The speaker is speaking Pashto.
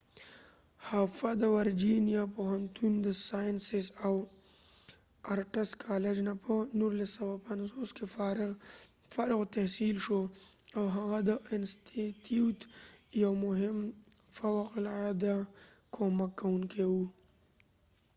هفه د ورجېنیا پوهنتون د ساینسز او آرټس کالج نه په 1950 کې فارغ التحصیل شو .او هغه د انستیتیوت یو مهم او فوق العاده کومک کوونکې و